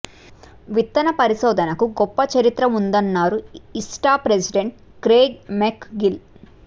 విత్తన పరిశోధనకు గొప్ప చరిత్ర ఉందన్నారు ఇస్టా ప్రెసిడెంట్ క్రేగ్ మెక్ గిల్